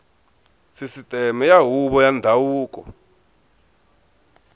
sisiteme ya huvo ya ndhavuko